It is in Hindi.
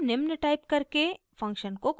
हम निम्न टाइप करके फंक्शन को कॉल करते हैं